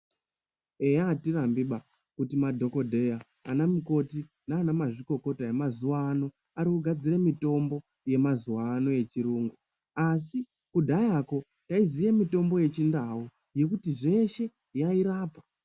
Eya atirambi ba kuti madhokodheya anamukoti nanamazvikokota emazuwa anaya arikugadzire mitombo yemazuwa ano echirungu asi kudhayako taiziye mitombo yechindau yekuti zveshe yairapa.